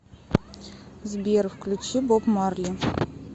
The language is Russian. сбер включи боб марли